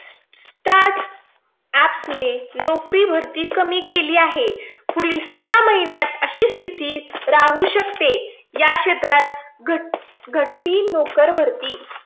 Start apps start app ने नोकरी भरती कमी केली आहे. पुढील सहा महिन्यात अशी स्थिती राहू शकते. या क्षेत्रात घट घटली नोकरभरती.